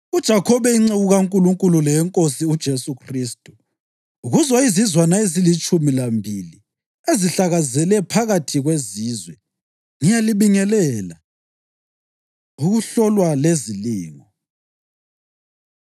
UJakhobe inceku kaNkulunkulu leyeNkosi uJesu Khristu, Kuzo izizwana ezilitshumi lambili ezihlakazekele phakathi kwezizwe: Ngiyalibingelela. Ukuhlolwa Lezilingo